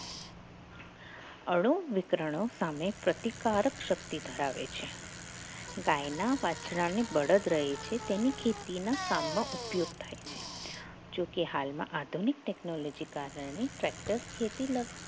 ભાણો વિતરણો સામે પ્રતિકારક શક્તિ ધરાવે છે ગાયના વાછડાની બળદ રહે છે તેની ખેતીના કામમાં ઉપયોગ થાય છે જોકે હાલમાં આધુનિક technology કારણે factor ખેતી